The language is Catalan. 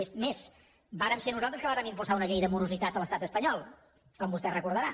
és més vàrem ser nosaltres qui vàrem impulsar una llei de morositat a l’estat espanyol com vostè recordarà